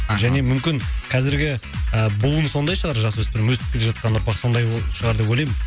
мхм және мүмкін қазіргі і буын сондай шығар жасөспірім өсіп келе жатқан ұрпақ сондай шығар деп ойлаймын